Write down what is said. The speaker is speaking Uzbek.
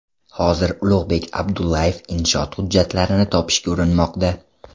Hozir Ulug‘bek Abdullayev inshoot hujjatlarini topishga urinmoqda.